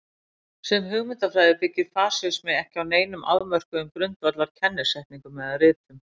Sem hugmyndafræði byggir fasismi ekki á neinum afmörkuðum grundvallar kennisetningum eða ritum.